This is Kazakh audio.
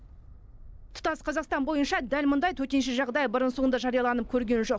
тұтас қазақстан бойынша дәл мұндай төтенше жағдай бұрын соңды жарияланып көрген жоқ